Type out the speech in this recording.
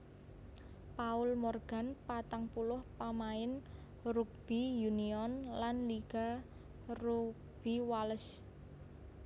Paul Morgan patang puluh pamain rugby union lan liga rugby Wales